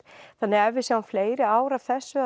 þannig að ef við sjáum fleiri ár af þessu